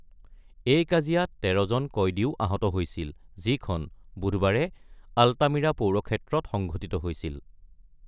এই কাজিয়াত তেৰজন কয়দীও আহত হৈছিল, যিখন বুধবাৰে আল্টামিৰা পৌৰক্ষেত্ৰত সংঘটিত হৈছিল।